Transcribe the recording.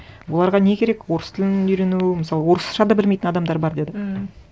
оларға не керек орыс тілін үйрену мысалы орысша да білмейтін адамдар бар деді ммм